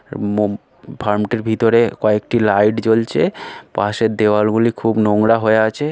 Farm -টির ভিতরে কয়েকটি লাইট জ্বলছে পাশের দেওয়াল গুলি খুব নোংরা হয়ে আছে।